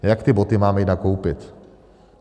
Jak ty boty máme jít nakoupit?